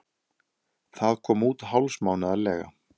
Það kom út hálfsmánaðarlega.